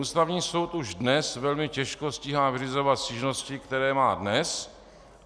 Ústavní soud už dnes velmi těžko stíhá vyřizovat stížnosti, které má dnes.